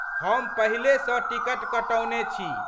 हम पहिले सँ टिकट कटौने छी।